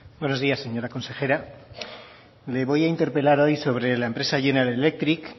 buenos días señora consejera le voy a interpelar hoy sobre la empresa general electric